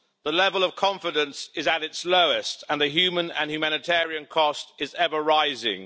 The level of confidence is at its lowest and human and humanitarian cost is ever rising'.